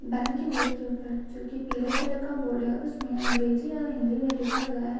Bank के board के ऊपर जो की पिले कलर का बोर्ड उसमे अंग्रेजी और हिंदी में लिखा गया है।